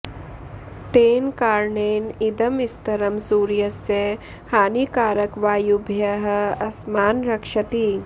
तेन कारणेन इदं स्तरं सूर्यस्य हानिकारकवायुभ्यः अस्मान् रक्षति